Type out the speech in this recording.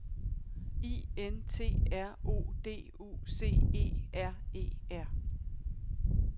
I N T R O D U C E R E R